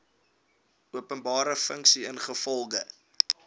openbare funksie ingevolge